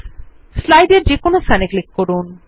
স্লাইডের যেকোনো স্থানে ক্লিক করুন